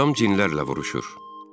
Atam cinlərlə vuruşur.